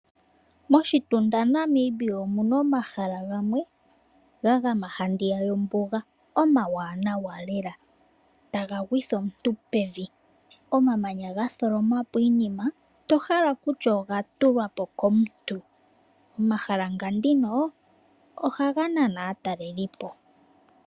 Moshitunda Namibia omuna omahala gamwe gagama handiya yombuga, omawaanawa lela, ta gagwitha omuntu pevi, omamanya gatholoma po iinima, tohala kutya oga tulwa po komuntu. Omahala nga ndino, oha ga nana aatalelipo.